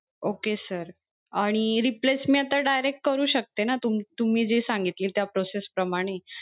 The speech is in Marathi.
Okay sir आणि replace मी आता direct करू शकते ना, तू तुम्ही तुम्ही जे सांगितली त्या process प्रामणि?